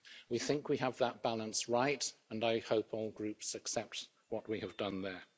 We think we have that balance right, and I hope all groups accept what we have done there.